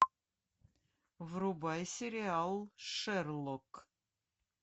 врубай сериал шерлок